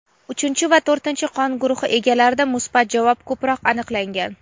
uchinchi va to‘rtinchi qon guruhi egalarida musbat javob ko‘proq aniqlangan.